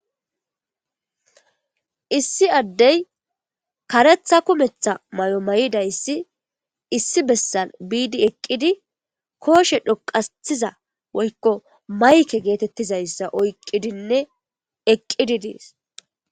issi addey karetha kumetha may7o may7idayssi issi bessal biidi eqqidi kooshe dhoqaiza woykko mayke geetettizayssa oyqqidinne eqqidi dees